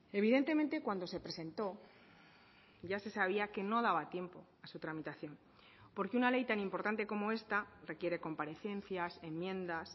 evidentemente cuando se presentó ya se sabía que no daba tiempo a su tramitación porque una ley tan importante como esta requiere comparecencias enmiendas